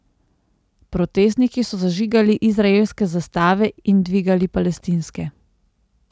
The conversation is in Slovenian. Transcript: Protestniki so zažigali izraelske zastave in dvigali palestinske.